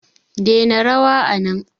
dena rawa anan